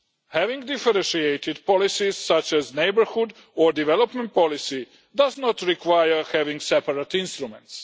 Having differentiated policies such as neighbourhood or development policy does not require having separate instruments.